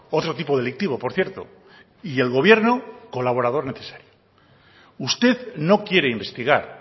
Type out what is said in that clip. otro tipo delictivo por cierto y el gobierno colaborador necesario usted no quiere investigar